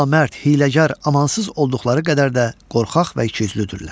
Namərd, hiyləgər, amansız olduqları qədər də qorxaq və ikiüzlüdürlər.